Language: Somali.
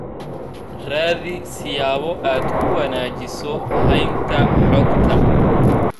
Raadi siyaabo aad ku wanaajiso haynta xogta.